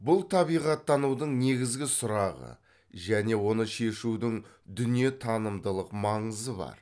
бұл табиғаттанудың негізгі сұрағы және оны шешудің дүние танымдылық маңызы бар